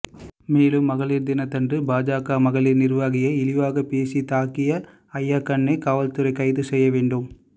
மேலும் மகளிர் தினத்தன்று பாஜக மகளிர் நிர்வாகியை இழிவாக பேசி தாக்கிய அய்யாக்கண்னை காவல்துறை கைது செய்ய வேண்டும்